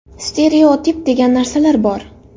Stereotip degan narsalar bor.